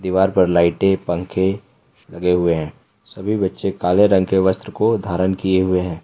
दीवार पर लाइटे पंखे लगे हुए हैं सभी बच्चे काले रंग के वस्त्र को धारण किए हुए हैं।